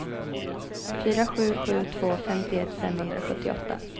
fyra sju sju två femtioett femhundrasjuttioåtta